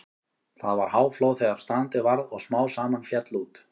Það var háflóð þegar strandið varð og smám saman féll út.